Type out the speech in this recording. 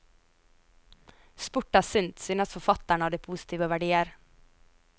Sport er sunt, syns forfatteren av de positive verdier.